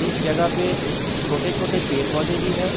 इस जगह पे छोटे-छोटे पेड़-पोधे भी हैं।